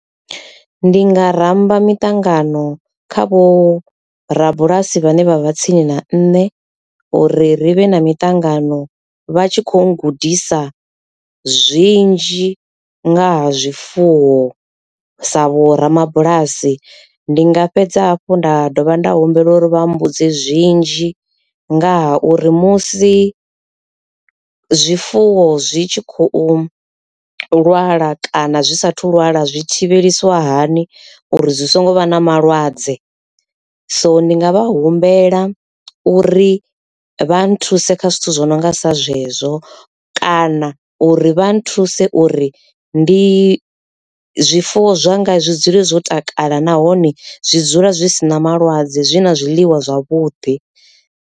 Ndi nga ramba miṱangano kha vho rabulasi vhane vha vha tsini na nṋe uri ri vhe na miṱangano vha tshi kho gudisa zwinzhi ngaha zwifuwo sa vho ramabulasi. Ndi nga fhedza hafhu nda dovha nda humbela uri vha mbudze zwinzhi ngaha uri musi zwifuwo zwi tshi khou lwala kana zwi sathu lwala zwi thivhelisiwa hani uri zwi songo vha na malwadze. So ndi nga vha humbela uri vha nthuse kha zwithu zwo no nga sa zwezwo kana uri vha nthuse uri ndi zwifuwo zwanga zwi dzule zwo takala nahone zwi dzula zwi si na malwadze zwi na zwiḽiwa zwavhuḓi.